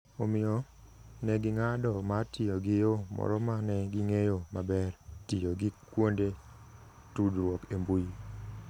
Omiyo, ne ging'ado mar tiyo gi yo moro ma ne ging'eyo maber - tiyo gi kuonde tudruok e mbui.